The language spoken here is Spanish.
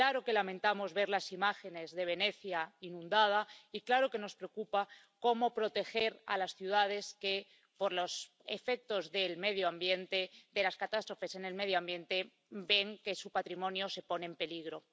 Claro que lamentamos ver las imágenes de Venecia inundada, y claro que nos preocupa cómo proteger a las ciudades que, por los efectos de las catástrofes del medio ambiente, ven que su patrimonio se pone en peligro.